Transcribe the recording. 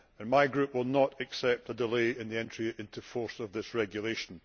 My Group will not accept a delay in the entry into force of this regulation.